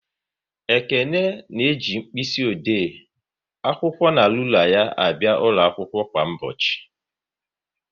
Ekene na-eji mkpịsị ode, akwụkwọ na rula ya abịa akwụkwọ kwa ụbọchị